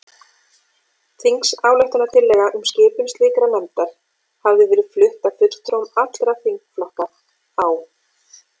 Þingsályktunartillaga um skipun slíkrar nefndar hafði verið flutt af fulltrúum allra þingflokka á